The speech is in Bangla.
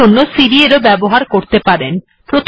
এর জন্য সিডি এরও ব্যবহার করতে পারেন